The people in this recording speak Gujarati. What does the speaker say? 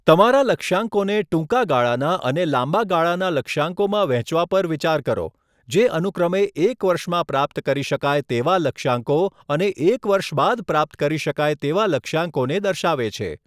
તમારા લક્ષ્યાંકોને ટૂંકા ગાળાના અને લાંબા ગાળાના લક્ષ્યાંકોમાં વહેંચવા પર વિચાર કરો, જે અનુક્રમે એક વર્ષમાં પ્રાપ્ત કરી શકાય તેવા લક્ષ્યાંકો અને એક વર્ષ બાદ પ્રાપ્ત કરી શકાય તેવા લક્ષ્યાંકોને દર્શાવે છે.